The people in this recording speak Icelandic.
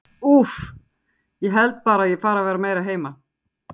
Úff, ég held bara að ég fari að vera meira heima.